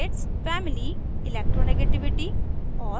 2 family 3 electronegativity और